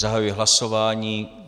Zahajuji hlasování.